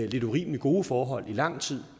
lidt urimelig gode forhold i lang tid